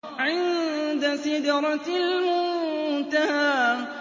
عِندَ سِدْرَةِ الْمُنتَهَىٰ